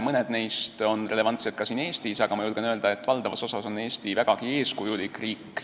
Mõned neist on relevantsed ka siin Eestis, aga ma julgen öelda, et valdavas osas on Eesti vägagi eeskujulik riik.